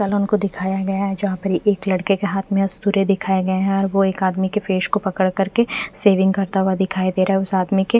फेन उनको दिखाया गया है जहाँ पर एक लडके के हाथ में सूर्य दिखाया गया है और वो एक आदमी के फेस को पकड़ करके सेविंग करता हुआ दिखाई दे रहा है उस आदमी के--